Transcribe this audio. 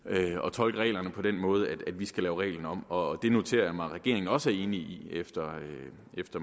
tolke reglerne på den måde at vi skal lave reglen om og det noterer jeg mig at regeringen også er enig i efter